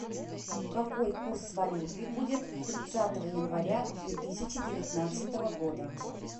какой курс валюты будет тридцатого января две тысячи девятнадцатого года